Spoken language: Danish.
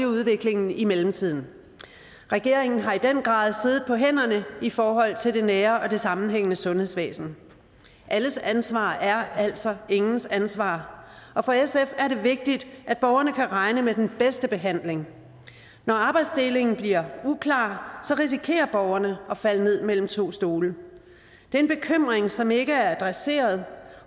udviklingen i mellemtiden regeringen har i den grad siddet på hænderne i forhold til det nære og det sammenhængende sundhedsvæsen alles ansvar er altså ingens ansvar og for sf er det vigtigt at borgerne kan regne med den bedste behandling når arbejdsdelingen bliver uklar risikerer borgerne at falde ned mellem to stole det er en bekymring som ikke er adresseret